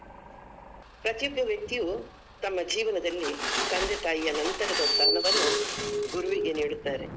ಪ್ರತಿಯೊಬ್ಬ ವ್ಯಕ್ತಿಯು ತಮ್ಮ ಜೀವನದಲ್ಲಿ ತಂದೆ ತಾಯಿಯ ನಂತರದ ಸ್ಥಾನವನ್ನ ಗುರುವಿಗೆ ನೀಡುತ್ತಾರೆ.